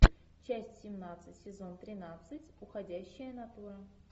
часть семнадцать сезон тринадцать уходящая натура